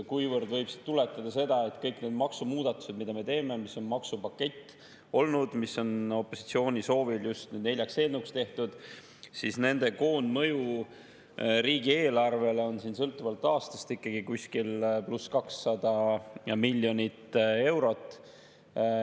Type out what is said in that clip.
Küll võib sealt tuletada seda, et kõik need maksumuudatused, mida me teeme, mis on olnud maksupakett, mis on opositsiooni soovil neljaks eelnõuks tehtud, nende koondmõju riigieelarvele on sõltuvalt aastast ikkagi kuskil +200 miljonit eurot.